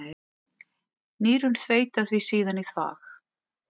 Nýrun þveita því síðan í þvag.